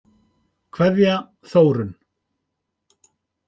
Kveðja, Þórunn.